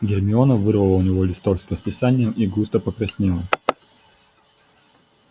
гермиона вырвала у него листок с расписанием и густо покраснела